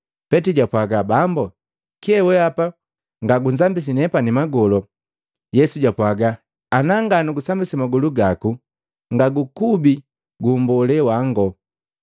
Petili jwapwaga, “Bambu, kyee weapa ngagunzambisi nepani magolo!” Yesu jwapwaga, “Ana nga nugusambisi magolu gaku ngagukubi gu mbolee wango.”